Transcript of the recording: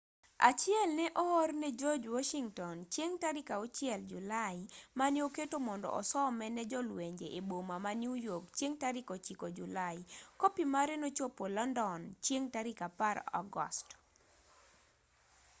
achiel ne oor ne george washington chieng' tarik 6 julai mane oketo mondo osome ne jolwenje e boma ma new york chieng' tarik 9 julai kopi mare nochopo london chieng' tarik 10 agost